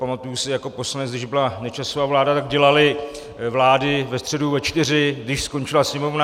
Pamatuji si jako poslanec, když byla Nečasova vláda, tak dělali vlády ve středu ve čtyři, když skončila sněmovna.